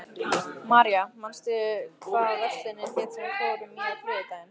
Marja, manstu hvað verslunin hét sem við fórum í á þriðjudaginn?